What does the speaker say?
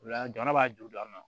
Ola jamana b'a juru don an na